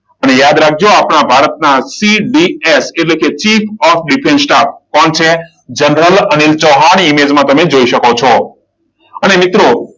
અને યાદ રાખજો આપણા ભારતના સીડીએસ એટલે કે ચીફ ઓફ ડિફેન્સ સ્ટાફ. કોણ છે? જનરલ અનિલ ચૌહાણ ઈમેજમાં તમે જોઈ શકો છો. અને મિત્રો